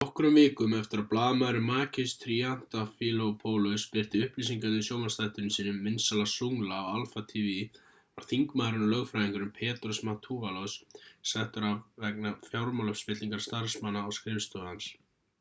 nokkrum vikum eftir að blaðamaðurinn makis triantafylopoulos birti upplýsingarnar í sjónvarpsþættinum sínum vinsæla zoungla á alpha tv var þingmaðurinn og lögfræðingurinn petros mantouvalos settur af vegna fjármálaspillingar starfsmanna á skrifstofu hans